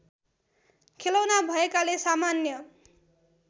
खेलौना भएकाले सामान्य